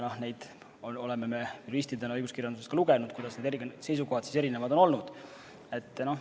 Ja me oleme juristidena õiguskirjandusest lugenud, kuidas need seisukohad siis erinevad on olnud.